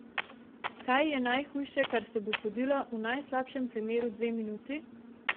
Kaj je najhujše, kar se bo zgodilo, v najslabšem primeru dve minuti?